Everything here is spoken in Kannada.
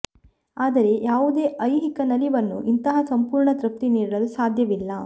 ಆದರೆ ಯಾವುದೇ ಐಹಿಕ ನಲಿವನ್ನು ಇಂತಹ ಸಂಪೂರ್ಣ ತೃಪ್ತಿ ನೀಡಲು ಸಾಧ್ಯವಿಲ್ಲ